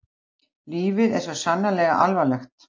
Lífið var svo sannarlega alvarlegt.